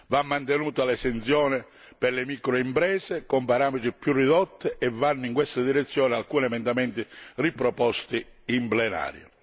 Va mantenuta l'esenzione per le microimprese, con parametri più ridotti e vanno in questa direzione alcuni emendamenti riproposti in plenaria.